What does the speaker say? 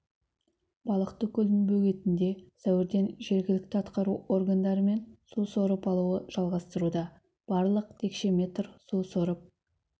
балықты көлдің бөгетінде сәуірден жергілікті атқару органдарымен су сорып алуы жалғастыруда барлығы текше метр су сорып